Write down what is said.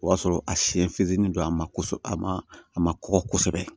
O y'a sɔrɔ a siyɛn fitinin don a ma ko a ma a ma kɔgɔ kosɛbɛ